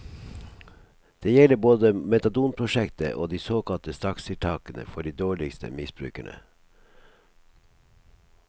Det gjelder både metadonprosjektet og de såkalte strakstiltakene for de dårligste misbrukerne.